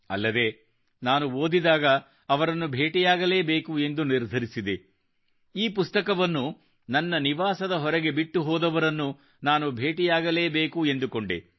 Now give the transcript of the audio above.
ಅಲ್ಲದೆ ನಾನು ಓದಿದಾಗ ಅವರನ್ನು ಭೇಟಿಯಾಗಲೇಬೇಕು ಎಂದು ನಿರ್ಧರಿಸಿದೆ ಈ ಪುಸ್ತಕವನ್ನು ನನ್ನ ನಿವಾಸದ ಹೊರಗೆ ಬಿಟ್ಟು ಹೋದವರನ್ನು ನಾನು ಭೇಟಿಯಾಗಲೇಬೇಕು ಎಂದುಕೊಂಡೆ